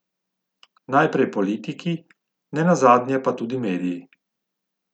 Najprej politiki, nenazadnje pa tudi mediji.